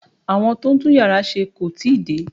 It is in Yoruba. Àwọn tó ń tún yàrá ṣe kò tí ì dé